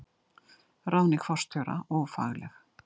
Ráðning forstjóra ófagleg